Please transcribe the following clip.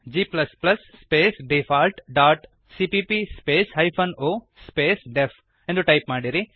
g space default dot CPP space hyphen o space DEF ಎಂದು type ಮಾಡಿರಿ